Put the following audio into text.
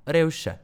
Revše.